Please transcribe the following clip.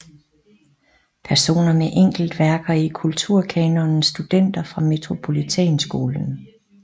Personer med enkeltværker i Kulturkanonen Studenter fra Metropolitanskolen